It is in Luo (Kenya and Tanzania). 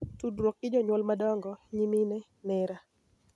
Tudruok gi jonyuol madongo, nyimine, nera,